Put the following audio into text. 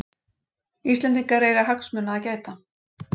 Íslendingar eiga hagsmuna að gæta